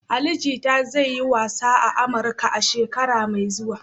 Ali Jita zai yi wasa a Amurka a shekara mai zuwa.